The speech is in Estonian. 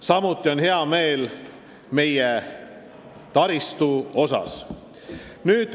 Samuti on rõõmu pakkunud meie taristu areng.